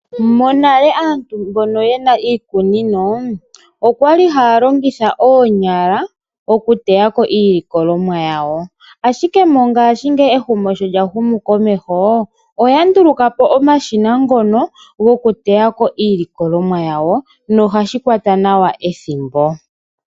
Monale aantu mbono yena iikunino okwali haya longitha oonyala okuteyako iilikolomwa yawo, ashike mongaashingeyi ehumo sho lya humu komeho oya ndulukapo omashina ngono goku teyako iilikolomwa yawo nohashi kwata nawa ethimbo.